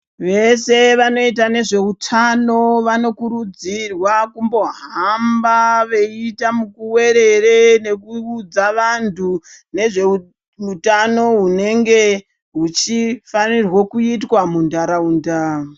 Veshe vanoita nezvehutano vanokurudzirwa kumbohamba veita mukuwerere veiudza vantu nezvehutano hunenge huchifanirwa kuitwa muntaraunda.